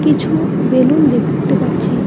কিছু বেলুন দেখতে পাচ্ছি।